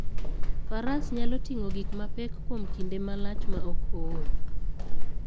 Faras nyalo ting'o gik mapek kuom kinde malach maok ool.